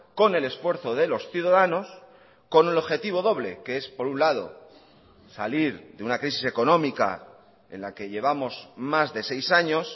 con el esfuerzo de los ciudadanos con el objetivo doble que es por un lado salir de una crisis económica en la que llevamos más de seis años